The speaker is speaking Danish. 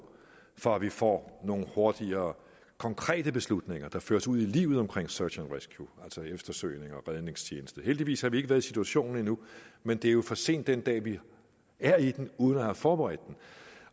for at vi får nogle hurtigere konkrete beslutninger der føres ud i livet search and rescue altså eftersøgnings og redningstjeneste heldigvis har vi ikke været i situationen endnu men det er jo for sent den dag vi er i den uden at have forberedt